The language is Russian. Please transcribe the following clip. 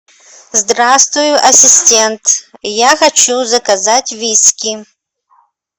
здравствуй ассистент я хочу заказать виски